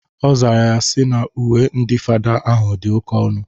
Ọ zara ya sị na uwe ndị fada ahụ dị oke ọnụ.